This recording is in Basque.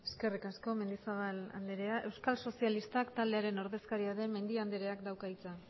eskerrik asko mendizabal anderea euskal sozialistak taldearen ordezkaria den mendia andereak dauka hitza